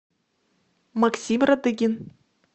максим радыгин